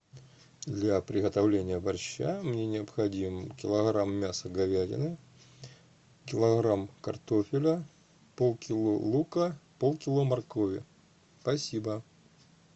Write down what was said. для приготовления борща мне необходим килограмм мяса говядины килограмм картофеля полкило лука полкило моркови спасибо